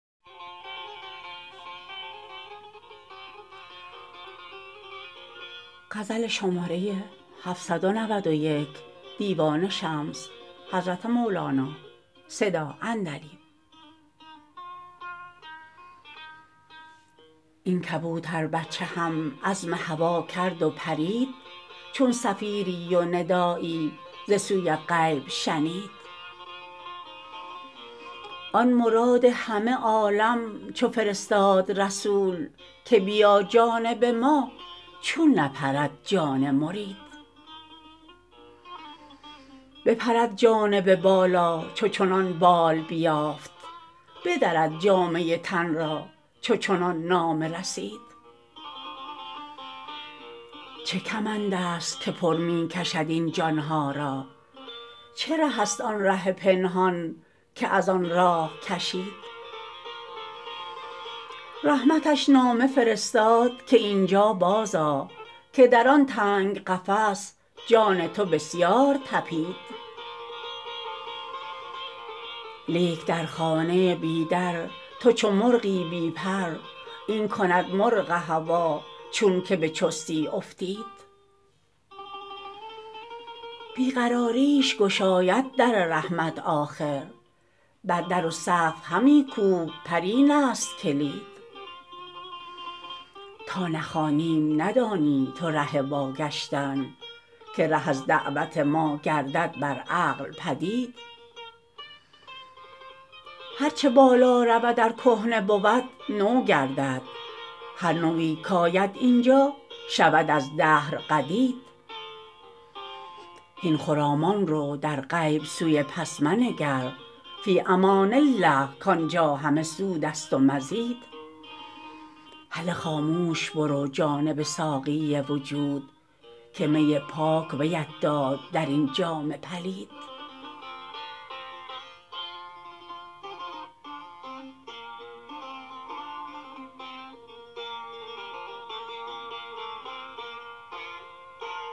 این کبوتربچه هم عزم هوا کرد و پرید چون صفیری و ندایی ز سوی غیب شنید آن مراد همه عالم چه فرستاد رسول که بیا جانب ما چون نپرد جان مرید بپرد جانب بالا چو چنان بال بیافت بدرد جامه تن را چو چنان نامه رسید چه کمندست که پر می کشد این جان ها را چه ره است آن ره پنهان که از آن راه کشید رحمتش نامه فرستاد که این جا بازآ که در آن تنگ قفس جان تو بسیار طپید لیک در خانه بی در تو چو مرغی بی پر این کند مرغ هوا چونک به چستی افتید بی قراریش گشاید در رحمت آخر بر در و سقف همی کوب پر اینست کلید تا نخوانیم ندانی تو ره واگشتن که ره از دعوت ما گردد بر عقل بدید هر چه بالا رود ار کهنه بود نو گردد هر نوی کاید این جا شود از دهر قدید هین خرامان رو در غیب سوی پس منگر فی امان الله کان جا همه سودست و مزید هله خاموش برو جانب ساقی وجود که می پاک ویت داد در این جام پلید